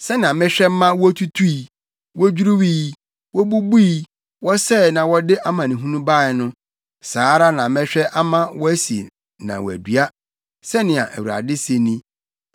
Sɛnea mehwɛ ma wotutui, wodwiriwii, wobubui, wɔsɛee na wɔde amanehunu bae no, saa ara na mɛhwɛ ama wɔasi na wɔadua,” sɛnea Awurade se ni.